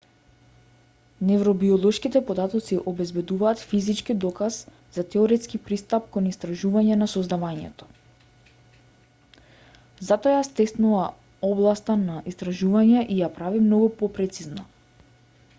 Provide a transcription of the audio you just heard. невробиолошките податоци обезбедуваат физички доказ за теоретски пристап кон истражување на сознавањето затоа ја стеснува областа на истражување и ја прави многу попрецизна